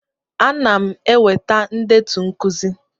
Ana m eweta ndetu nkuzi.